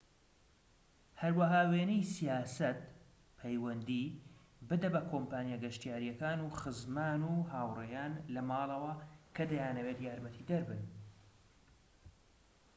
هەروەها وێنەی سیاسەت/پەیوەندی بدە بە کۆمپانیا گەشتیاریەکان و خزمان و هاوڕێیان لە ماڵەوە کە دەیانەوێت یارمەتیدەر بن